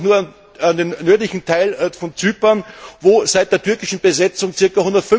Denken wir doch nur an den nördlichen Teil von Zypern, wo seit der türkischen Besetzung ca.